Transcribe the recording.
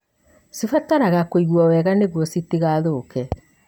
cibataraga kũigwo wega nĩguo citigathũke.